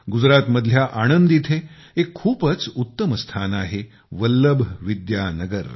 गुजरात मधल्या आणंद इथे एक खुपच उत्तम स्थान आहेवल्लभ विद्यानगर